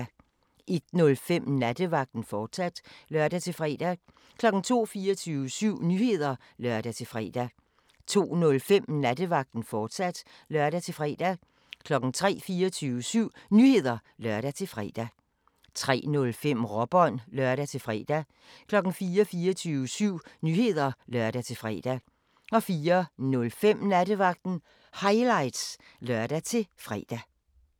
01:05: Nattevagten, fortsat (lør-fre) 02:00: 24syv Nyheder (lør-fre) 02:05: Nattevagten, fortsat (lør-fre) 03:00: 24syv Nyheder (lør-fre) 03:05: Råbånd (lør-fre) 04:00: 24syv Nyheder (lør-fre) 04:05: Nattevagten Highlights (lør-fre)